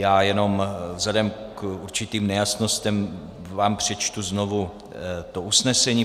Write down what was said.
Já jenom vzhledem k určitým nejasnostem vám přečtu znovu to usnesení.